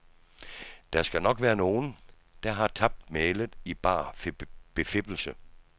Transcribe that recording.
Der skal nok være nogen, der har tabt mælet i bar befippelse.